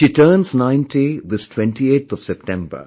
She turns ninety this 28th of September